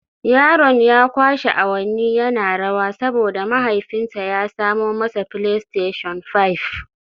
Yaron ya kwashe awanni yana rawa saboda mahaifinsa ya samo masa Playstation Five